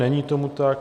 Není tomu tak.